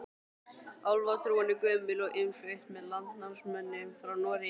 Álfatrúin er gömul og innflutt með landnámsmönnum frá Noregi.